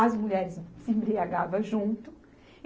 As mulheres se, se embriagavam junto.